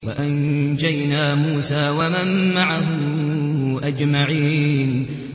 وَأَنجَيْنَا مُوسَىٰ وَمَن مَّعَهُ أَجْمَعِينَ